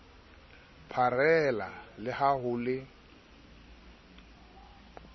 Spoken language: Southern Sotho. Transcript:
pharela le ha ho le